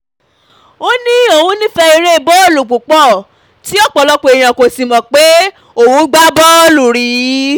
ó ní um òun nífẹ́ èrè bọ́ọ̀lù púpọ̀ tí um ọ̀pọ̀lọpọ̀ èèyàn kò sì mọ̀ pé òun gbá bọ́ọ̀lù rí